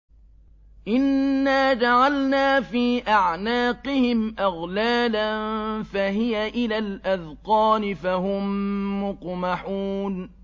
إِنَّا جَعَلْنَا فِي أَعْنَاقِهِمْ أَغْلَالًا فَهِيَ إِلَى الْأَذْقَانِ فَهُم مُّقْمَحُونَ